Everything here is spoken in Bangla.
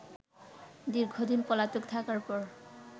দীর্ঘদিন পলাতক থাকার পর